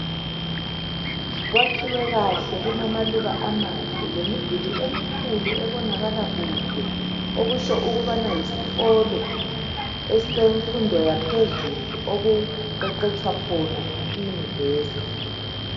Kwakhiwe kahle kulamaluba amahle lemduli emikhulu ebonakala kude okusho ukubana yisikolo esemfundo yaphezulu okuqeqeshwa khona i nyuvesi